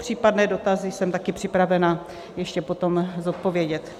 Případné dotazy jsem také připravena ještě potom zodpovědět.